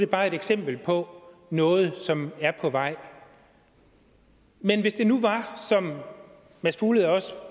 bare er et eksempel på noget som er på vej men hvis det nu var som mads fuglede også